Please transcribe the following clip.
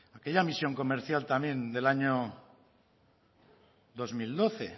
aquella misión comercial también del año dos mil doce